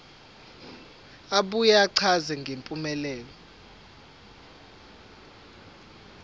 abuye achaze ngempumelelo